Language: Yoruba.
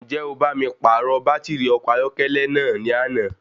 Ǹjẹ́ o bá mi pàrọ̀ bàtìrì ọkọ̀ ayọ́kẹ́lẹ́ náà ní àná?